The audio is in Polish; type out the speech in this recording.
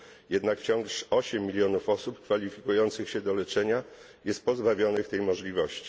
Jednak wciąż 8 milionów osób kwalifikujących się do leczenia jest pozbawionych tej możliwości.